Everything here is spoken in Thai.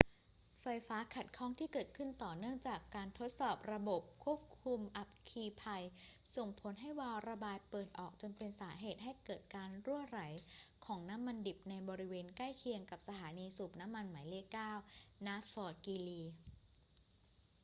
ไฟฟ้าขัดข้องที่เกิดขึ้นต่อเนื่องจากการทดสอบระบบควบคุมอัคคีภัยส่งผลให้วาล์วระบายเปิดออกจนเป็นสาเหตุให้เกิดการรั่วไหลของน้ำมันดิบในบริเวณใกล้เคียงกับสถานีสูบน้ำมันหมายเลข 9 ณ ฟอร์ตกรีลี